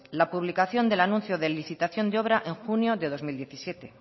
la publicación del anuncio de licitación de obra en junio de dos mil diecisiete